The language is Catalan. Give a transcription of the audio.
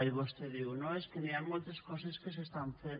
i vostè diu no és que hi han moltes coses que s’estan fent